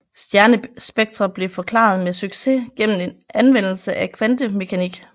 Stjernespektre blev forklaret med succes gennem anvendelse af kvantemekanik